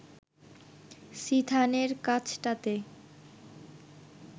সিথানের কাছটাতে